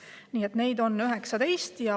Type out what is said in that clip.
Nii et neid on 19.